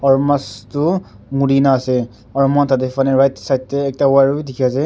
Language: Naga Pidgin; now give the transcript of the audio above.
aru mas toh muri ne ase aru moi khan tate phane right side te ekta wire bi dikhi ase.